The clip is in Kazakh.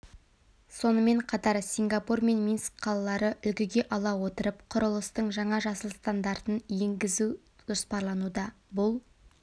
сонымен қатар сингапур мен минск қалалары үлгіге ала отырып құрылыстың жаңа жасыл стандартын егізу жоспарлануда бұл